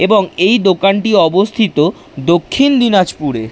এবং এই দোকানটি অবস্থিত দক্ষিণ দিনাজপুরে।